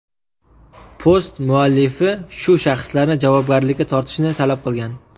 Post muallifi bu shaxslarni javobgarlikka tortishni talab qilgan.